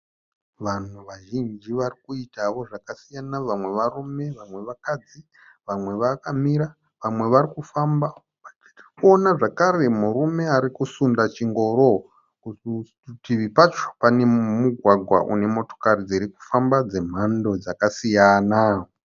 Vanhu vazhinji vari kuitawo zvakasiyana. Vamwe varume vamwe vakadzi. Vamwe vakamira vamwe vari kufamba. Tiri kuona zvakare murume ari kusunda chingoro. Parutivi pacho pane mugwagwa une motokari dziri kufamba dzemhando dzakasiyana.